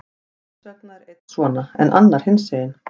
Hvers vegna er einn svona, en annar hinsegin?